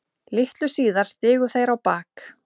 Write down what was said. Litlu síðar stigu þeir á bak.